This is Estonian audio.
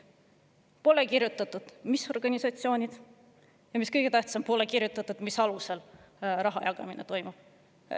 Aga pole kirjutatud, mis organisatsioonid, ja mis kõige tähtsam, pole kirjutatud, mis alusel raha jagamine toimub.